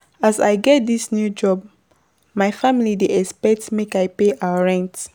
As I get dis new job, my family dey expect make I pay our rent.